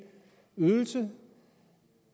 ydelse